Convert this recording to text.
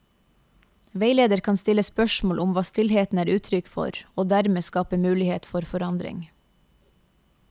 Veileder kan stille spørsmål om hva stillheten er uttrykk for, og dermed skape mulighet for forandring.